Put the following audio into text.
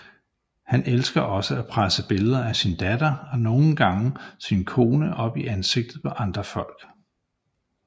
Han elsker også at presse billeder af sin datter og nogle gange sin kone op i ansigtet på andre folk